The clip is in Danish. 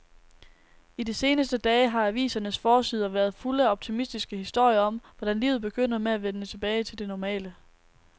I de seneste dage har avisernes forsider været fulde af optimistiske historier om, hvordan livet begynder at vende tilbage til det normale.